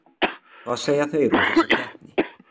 Hvað segja þeir um þessa keppni?